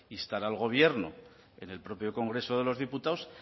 instar al gobierno en el propio congreso de los diputados